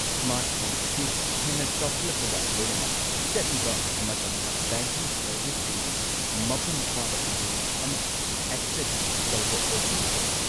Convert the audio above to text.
Smartphone ꯑꯁꯤ ꯍꯦꯟꯅ ꯆꯥꯎꯈꯠꯂꯛꯄꯒ ꯂꯣꯏꯅꯅ ꯆꯠꯂꯤꯕ ꯃꯇꯝꯗ ꯕꯦꯡꯀꯤꯡ ꯁꯔꯕꯤꯁꯁꯤꯡꯒꯤ ꯃꯄꯨꯡ ꯐꯥꯕ ꯔꯦꯟꯖ ꯑꯃ ꯑꯦꯛꯁꯦꯁ ꯇꯧꯕ ꯑꯣꯏꯊꯣꯛꯂꯦ꯫